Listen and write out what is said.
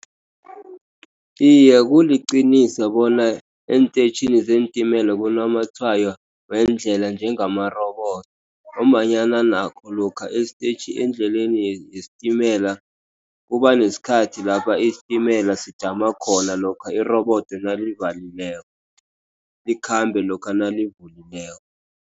Iye, kuliqiniso bona eentetjhini zeentimela kunamatshwayo weendlela njengamarobodo. Ngombanyana nakho lokha estetjhini, endleleni yesitimela kuba nesikhathi lapha isitimela sijama khona, lokha irobodo nalo livalileke. Sikhambe lokha nalivulileko.